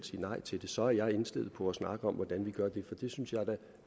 sige nej til det så er indstillet på at snakke om hvordan vi gør det for det synes jeg da